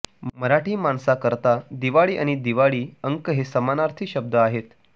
मराठी माणसाकरता दिवाळी आणि दिवाळी अंक हे समानार्थी शब्द आहेत